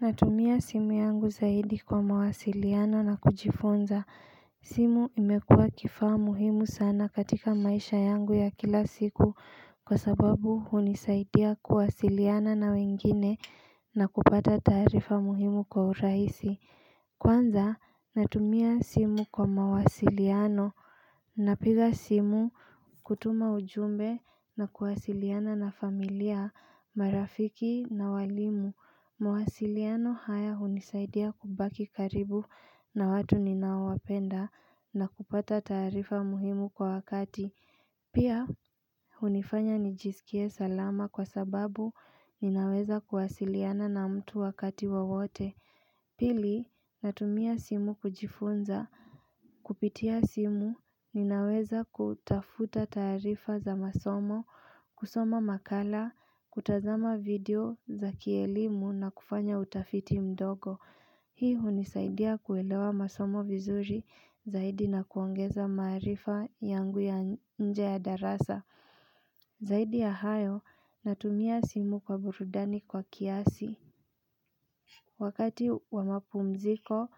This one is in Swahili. Natumia simu yangu zaidi kwa mawasiliano na kujifunza. Simu imekuwa kifaa muhimu sana katika maisha yangu ya kila siku kwa sababu hunisaidia kuwasiliana na wengine na kupata taarifa muhimu kwa urahisi. Kwanza natumia simu kwa mawasiliano. Napiga simu kutuma ujumbe na kuwasiliana na familia, marafiki na walimu mawasiliano haya unisaidia kubaki karibu na watu ninaowapenda na kupata taarifa muhimu kwa wakati Pia unifanya nijisikie salama kwa sababu ninaweza kuwasiliana na mtu wakati wowote Pili natumia simu kujifunza Kupitia simu ninaweza kutafuta taarifa za masomo, kusoma makala, kutazama video za kielimu na kufanya utafiti mdogo Hii unisaidia kuelewa masomo vizuri zaidi na kuongeza maarifa yangu ya nje ya darasa Zaidi ya hayo natumia simu kwa burudani kwa kiasi Wakati wa mapumziko,